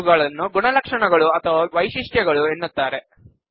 ಇವುಗಳನ್ನು ಗುಣಲಕ್ಷಣಗಳು ಅಥವಾ ವೈಶಿಷ್ಟ್ಯಗಳು ಎನ್ನುತ್ತಾರೆ